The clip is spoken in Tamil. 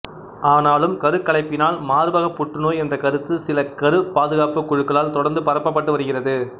ஆனாலும் கருக்கலைப்பினால் மார்பக புற்றுநோய் என்ற கருத்து சில கருப் பாதுகாப்பு குழுக்களால் தொடர்ந்து பரப்பப்பட்டு வருகிறது